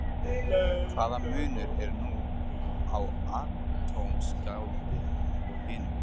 Hvaða munur er nú á atómskáldi og hinum?